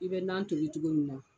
I bɛ nan tobi cogo min na.